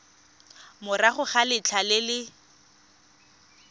morago ga letlha le le